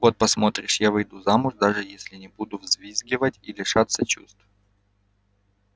вот посмотришь я выйду замуж даже если не буду взвизгивать и лишаться чувств